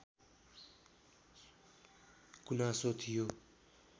गुनासो थियो